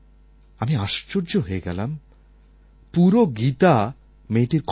আমি আশ্চর্য হয়ে গেলাম পুরো গীতা মেয়েটির কণ্ঠস্থ